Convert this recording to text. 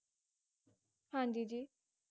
ਹਾਂਜੀ ਜੀ ਜੀ